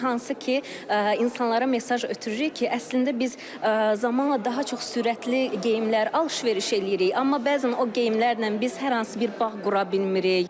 Hansı ki, insanlara mesaj ötürürük ki, əslində biz zamanla daha çox sürətli geyimlər alış-veriş eləyirik, amma bəzən o geyimlərlə biz hər hansı bir bağ qura bilmirik.